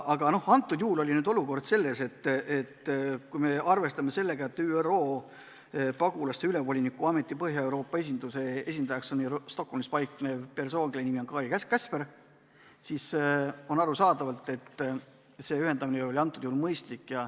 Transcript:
Aga praegusel juhul oli asi selles, et kui me arvestame sellega, et ÜRO Pagulaste Ülemvoliniku Ameti Põhja-Euroopa esinduse esindajaks on Stockholmis paiknev persoon, kelle nimi on Kari Käsper, siis arusaadavalt oli tema kaasamine mõistlik.